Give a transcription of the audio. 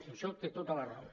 en això té tota la raó